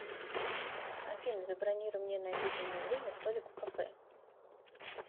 афина забронируй мне на обеденное время столик в кафе